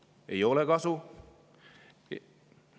Neist ei ole kasu.